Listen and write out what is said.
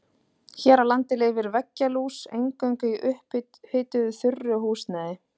Hér á landi lifir veggjalús eingöngu í upphituðu þurru húsnæði.